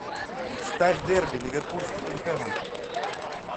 ставь дерби ливерпуль с тоттенхэмом